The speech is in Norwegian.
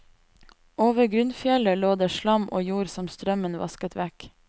Over grunnfjellet lå det slam og jord som strømmen vasket vekk.